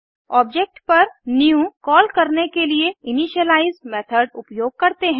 object पर new call करने के लिए इनिशियलाइज़ मेथड उपयोग करते हैं